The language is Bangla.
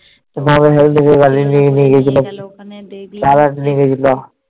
তোমাকে Health থেকে গাড়ি করে নিয়ে গেছিলো